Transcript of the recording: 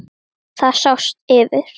Það sást yfir